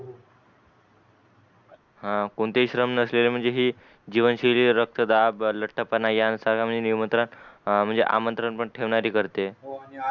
हान कोणतेही श्रम नसलेले म्हणजे हि जीवनशैली रक्तदाब लठ पना यांसारखा निमंत्रण पण आमंत्रण पण ठेवणारी करते